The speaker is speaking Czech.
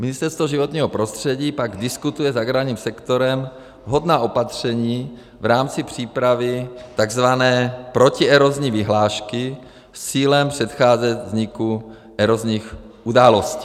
Ministerstvo životního prostředí pak diskutuje s agrárním sektorem vhodná opatření v rámci přípravy tzv. protierozní vyhlášky s cílem předcházet vzniku erozních událostí.